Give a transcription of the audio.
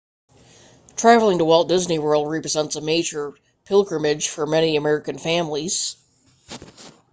traveling to walt disney world represents a major pilgrimage for many american families